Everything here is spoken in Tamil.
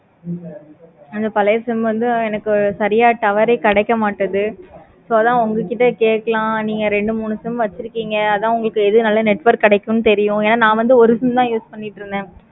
அது பழைய sim வந்து எனக்கு சரியா tower ஏ கிடைக்க மாடிக்கு so அதான் உங்ககிட்ட கேட்கலாம் நீங்க ரெண்டு மெனு sim வச்சிருப்பீங்க. அத எது உங்களுக்கு நல்ல network கிடைக்கு தெரியும். ஏன நா வந்து ஒரு sim தான் use பண்ணிக்கிட்டு இருந்தேன்.